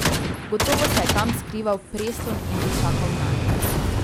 Gotovo se je tam skrival Preston in že čakal nanj.